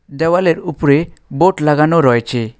দেওয়ালের উপরে বোর্ড লাগানো রয়েচে।